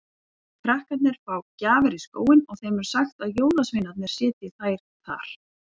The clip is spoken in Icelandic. Krakkar fá gjafir í skóinn og þeim er sagt að jólasveinarnir setji þær þar.